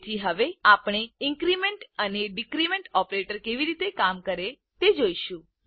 તેથી હવે આપણે ઇન્ક્રીમેન્ટ અને ડીક્રીમેન્ટ ઓપરેટર કેવી રીતે કામ કરે તે જોઈશું